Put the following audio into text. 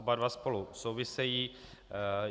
Oba dva spolu souvisejí.